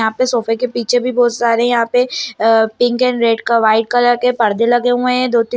यहाँ पे सोफे के पीछे भी बहुत सारे यहाँ पे पिंक एंड रेड क वाइट कलर के पर्दे लगे हुए है दो तीन --